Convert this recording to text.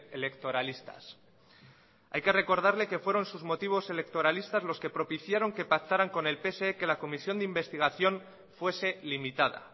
electoralistas hay que recordarle que fueron sus motivos electoralistas los que propiciaron que pactaran con el pse que la comisión de investigación fuese limitada